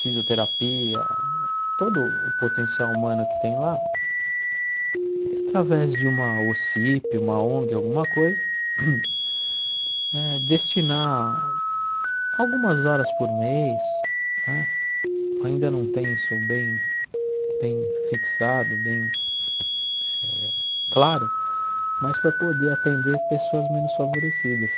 fisioterapia, todo o potencial humano que tem lá, através de uma OSCIP, uma ONG, alguma coisa eh, destinar algumas horas por mês né, ainda não tem isso bem bem fixado, bem eh claro, mas para poder atender pessoas menos favorecidas.